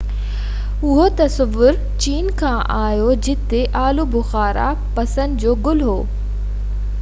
اهو تصور چين کان آيو جتي آلو بخارا پسند جو گل هو